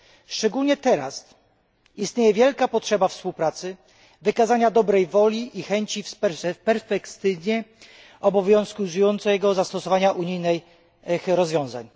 Szczególnie teraz istnieje wielka potrzeba współpracy, wykazania dobrej woli i chęci w perspektywie obowiązującego zastosowania unijnych rozwiązań.